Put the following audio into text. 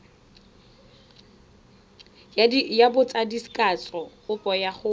ya botsadikatsho kopo ya go